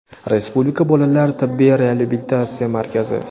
Respublika bolalar tibbiy reabilitatsiya markazi;.